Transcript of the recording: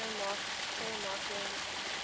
tao marking